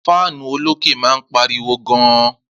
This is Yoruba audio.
Fáánù olókè máa ń pariwo gan